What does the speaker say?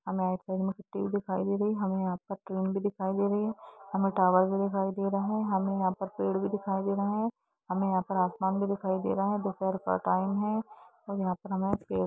हमे एक दिखाई दे रही है हमे यहाँ पर क्लोन भी दिखाई दे रही है हमे टावर भी दिखाई दे रहे है हमे यहाँ पर पेड़ भी दिखाई दे रहे है हमे यहाँ पर आसमान भी दिखाई दे रहे है दोपहर का टाइम है हम यहाँ पर हमे--